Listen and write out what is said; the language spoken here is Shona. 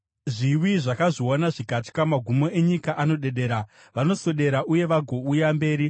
Zviwi zvakazviona zvikatya; magumo enyika anodedera. Vanoswedera uye vagouya mberi;